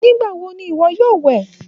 Nigbawo ní iwọ yóò wẹ?